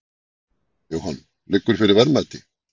Jóhann: Liggur fyrir verðmæti?